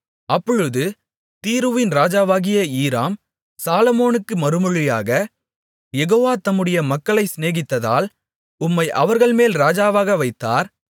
அப்பொழுது தீருவின் ராஜாவாகிய ஈராம் சாலொமோனுக்கு மறுமொழியாக யெகோவா தம்முடைய மக்களை சிநேகித்ததால் உம்மை அவர்கள்மேல் ராஜாவாக வைத்தார்